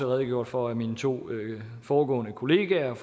redegjort for af mine to foregående kolleger